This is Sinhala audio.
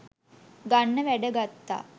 ගන්න වැඩ ගත්තා